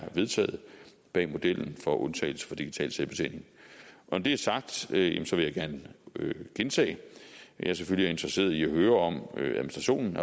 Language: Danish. vedtaget bag modellen for undtagelse fra digital selvbetjening når det er sagt vil jeg gerne gentage at jeg selvfølgelig er interesseret i at høre om administrationen